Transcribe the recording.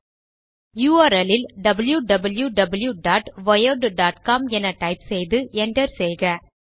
URL ல் wwwwiredcom என type செய்து Enter செய்க